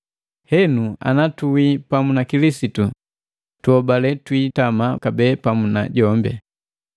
Henu ana tuwi pamu na Kilisitu, tuhobale twiitama kabee pamu na jombi.